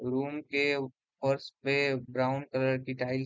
room के फर्स पे ब्राउन कलर की टाइल्स --